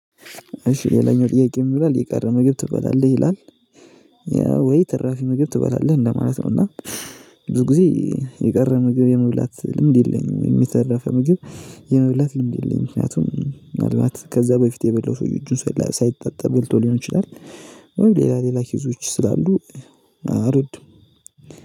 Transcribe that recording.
እሺ ሌላኛው ጥያቄ የምትለው የቀረ መግቢያ ትበላለህ ይላል? ያ ወይ ትራፊ መግቢያ ትበላለህ እንደማለት ነው። እና ብዙ ጊዜ የቀረ ምግብ የመብላት ልምድ የለኝም የተረፈ ምግብ የመብላት ልምድ የለኝም። ምክንያቱም ምናልባት ከዛ በፊት የበለው ሰውየው ሳይጣጣ ሊሆን ይችላል። ሌላ ሌላ ኪዞች ስላሉ አልወድም